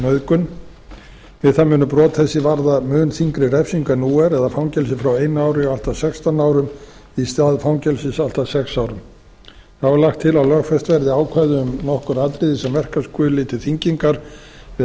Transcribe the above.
nauðgun við það munu brot þessi varða mun þyngri refsingu en nú er eða fangelsi frá einu ári og allt að sextán árum í stað fangelsis allt að sex árum þá er lagt til að lögfest verði ákvæði um nokkur atriði sem verka skuli til þyngingar við